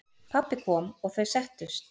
Pabbi kom og þau settust.